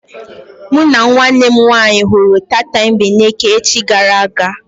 Mụ na nwanne m nwaanyị hụrụ tatambeneke echi gara aga.